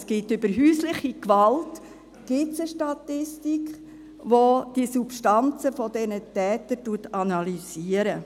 Es gibt über häusliche Gewalt eine Statistik, welche die Substanzen dieser Täter analysiert.